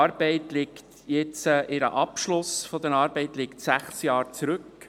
Der Abschluss ihrer Arbeit liegt inzwischen sechs Jahre zurück.